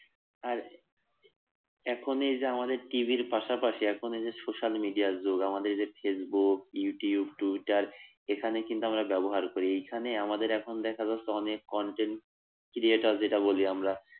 আর এখনই যে আমাদের টিভির পাশাপাশি এখন এই যে social media র যুগ আমাদের যে ফেসবুক, ইউটিউব, টুইটার এখানে কিন্তু আমরা ব্যবহার করি এইখানে আমাদের এখন দেখা যাচ্ছে অনেক content creator যেটা বলি আমরা